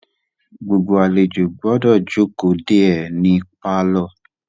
Gbogbo àlejò gbọ́dọ̀ jókòó de é ní pálọ̀.